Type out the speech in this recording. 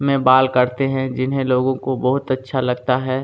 में बाल काटते हैं जिन्हें लोगों को बहुत अच्छा लगता है।